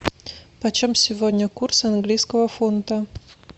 почем сегодня курс английского фунта